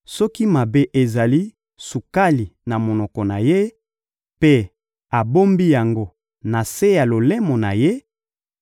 Soki mabe ezali sukali na monoko na ye mpe abombi yango na se ya lolemo na ye,